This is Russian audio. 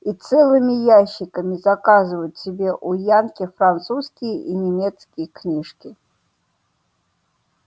и целыми ящиками заказывают себе у янки французские и немецкие книжки